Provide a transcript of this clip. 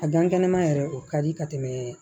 A gan kɛnɛma yɛrɛ o ka di ka tɛmɛ